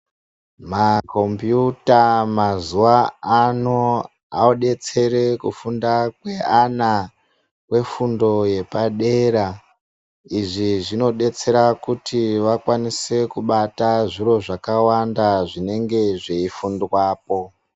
Makombiyuta mazuva ano odetsere kufunda kweana kwefundo yepadera. Izvi zvinodetsera kuti vakwanise kubata zviro zvakawanda zvinenge zveifundwapo.